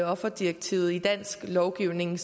offerdirektivet i dansk lovgivning